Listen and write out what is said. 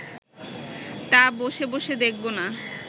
তা বসে বসে দেখব না